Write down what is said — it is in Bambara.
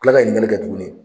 Kila ka ɲininkali kɛ tuguni.